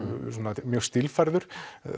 mjög stílfærður